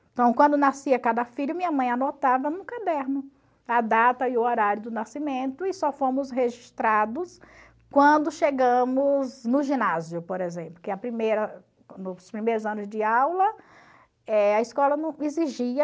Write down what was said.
Então, quando nascia cada filho, minha mãe anotava no caderno a data e o horário do nascimento e só fomos registrados quando chegamos no ginásio, por exemplo, porque a primeira primeiros anos de aula eh a escola não exigia.